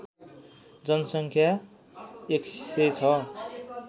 जनसङ्ख्या १०० छ